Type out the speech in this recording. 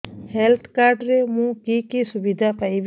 health card ରେ ମୁଁ କି କି ସୁବିଧା ପାଇବି